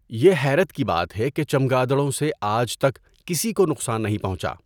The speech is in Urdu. یہ حیرت کی بات ہے کہ چمگادڑوں سے آج تک کسی کو نقصان نہیں پہنچا۔